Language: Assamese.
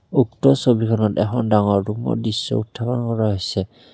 উক্ত ছবিখনত এখন ডাঙৰ ৰূমৰ দৃশ্য উত্থাপন কৰা হৈছে।